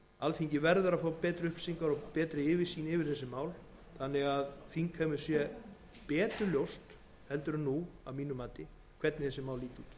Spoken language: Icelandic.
alþingi verður að fá betri upplýsingar og betri yfirsýn yfir málin þannig að þingheimi sé betur ljóst heldur en nú hvernig þessi mál líta út ég legg áherslu á þetta virðulegi